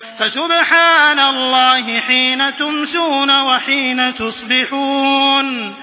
فَسُبْحَانَ اللَّهِ حِينَ تُمْسُونَ وَحِينَ تُصْبِحُونَ